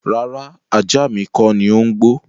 Rárá, ajá mi kọ́ni ó ń gbọ́.